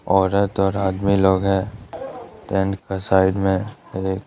औरत और आदमी लोग हैं टेंट का साइड में एक--